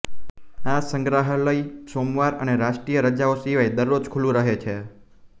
આ સંગ્રહાલય સોમવાર અને રાષ્ટ્રીય રજાઓ સિવાય દરરોજ ખુલ્લું રહે છે